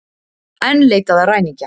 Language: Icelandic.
Enn leitað að ræningja